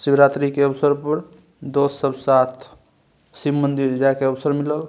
शिवरात्रि के अवसर पर दोस्त सब साथ शिव मंदिर जाय के अवसर मिलल।